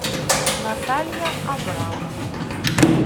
наталья абрамова